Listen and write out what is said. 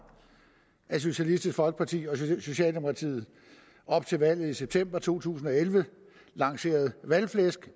at socialistisk folkeparti og socialdemokratiet op til valget i september to tusind og elleve lancerede valgflæsk